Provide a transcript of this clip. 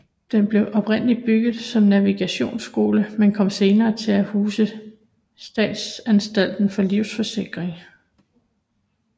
Den blev oprindeligt bygget som navigationsskole men kom senere til at huse Statsanstalten for Livsforsikring